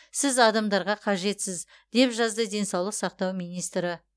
сіз адамдарға қажетсіз деп жазды денсаулық сақтау министрі